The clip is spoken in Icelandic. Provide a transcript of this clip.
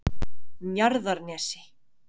Njarðarnesi